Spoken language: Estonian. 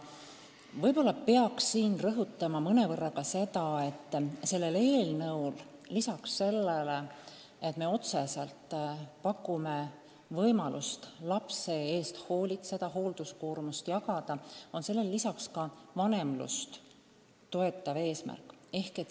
Võib-olla ma peaks siin rõhutama seda, et sellel eelnõul on lisaks sellele, et me otseselt pakume võimalust lapse eest hoolitseda, hoolduskoormust jagada, ka vanemlust toetav eesmärk.